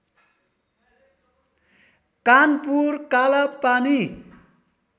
Kanpur Kalapani